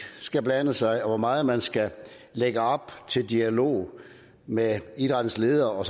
skal blande sig og hvor meget man skal lægge op til dialog med idrættens ledere og